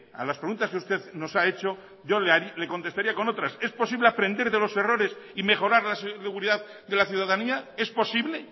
a las preguntas que usted nos ha hecho yo le contestaría con otras es posible aprender de los errores y mejorar la seguridad de la ciudadanía es posible